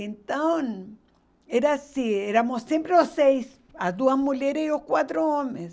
Então, era assim, éramos sempre os seis, as duas mulheres e os quatro homens.